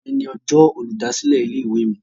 Òní ní ọjọ́ olùdásílẹ̀ ilé-ìwé mi